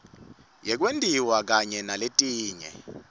yekwentiwa kanye naletinye